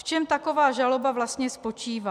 V čem taková žaloba vlastně spočívá?